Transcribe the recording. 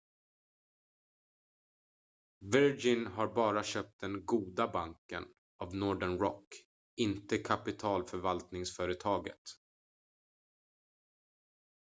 "virgin har bara köpt den "goda banken" av northern rock inte kapitalförvaltningsföretaget.